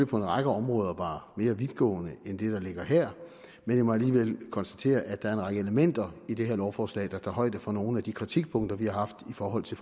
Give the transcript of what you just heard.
på en række områder var mere vidtgående end det der ligger her jeg må alligevel konstatere at der er en række elementer i det her lovforslag der tager højde for nogle af de kritikpunkter vi har haft i forhold til